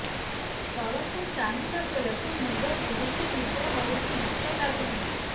ତଳକୁ ଚାହିଁଲା ବେଳକୁ ମୁଣ୍ଡ ବୁଲୁଚି ନିଦ ହଉନି ଭୁକ ଲାଗୁନି